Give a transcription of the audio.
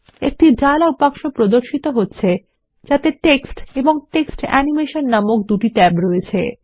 একটি dialog box প্রদর্শিত হচ্ছে যাতে টেক্সট এবং টেক্সট অ্যানিমেশন নামক দুটি ট্যাব রয়েছে